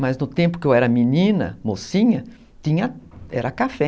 Mas no tempo que eu era menina, mocinha, tinha, era café.